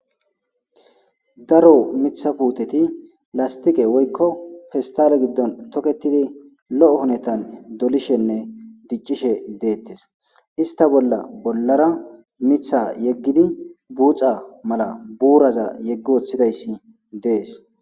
Daro mitha puuteti lastiqe woykko pistale giddon toketidi lo'o honetan dolishenne diccishe deettes ista bolla bollara mitha yeggidi buuxa mala buuraza yeggi woththidayssi dees.